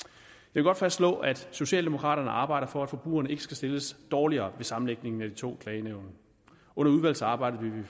vil godt fastslå at socialdemokraterne arbejder for at forbrugerne ikke skal stilles dårligere ved sammenlægningen af de to klagenævn under udvalgsarbejdet vil